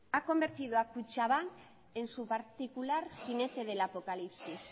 ha convertido a kutxabank en su particular jinete del apocalipsis